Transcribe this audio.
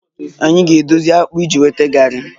Anyị na-edozi akpu iji nweta garri